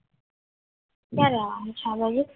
ક્યારે આવવાનું છે આ બાજુ